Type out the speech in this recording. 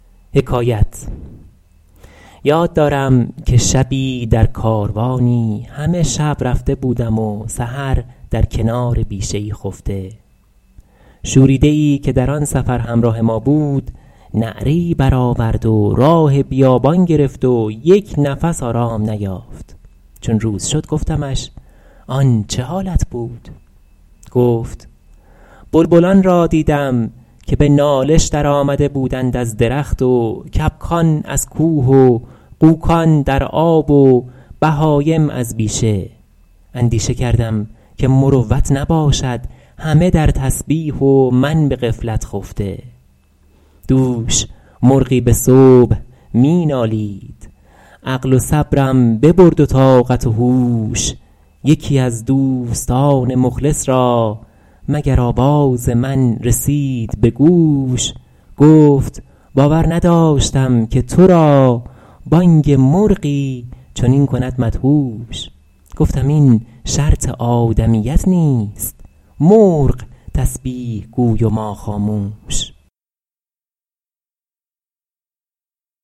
یاد دارم که شبی در کاروانی همه شب رفته بودم و سحر در کنار بیشه ای خفته شوریده ای که در آن سفر همراه ما بود نعره ای برآورد و راه بیابان گرفت و یک نفس آرام نیافت چون روز شد گفتمش آن چه حالت بود گفت بلبلان را دیدم که به نالش در آمده بودند از درخت و کبکان از کوه و غوکان در آب و بهایم از بیشه اندیشه کردم که مروت نباشد همه در تسبیح و من به غفلت خفته دوش مرغی به صبح می نالید عقل و صبرم ببرد و طاقت و هوش یکی از دوستان مخلص را مگر آواز من رسید به گوش گفت باور نداشتم که تو را بانگ مرغی چنین کند مدهوش گفتم این شرط آدمیت نیست مرغ تسبیح گوی و من خاموش